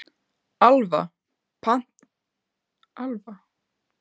Alfa, pantaðu tíma í klippingu á þriðjudaginn.